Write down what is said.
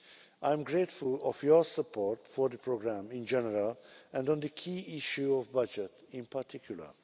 I am grateful for your support for the programme in general and on the key issue of the budget in particular.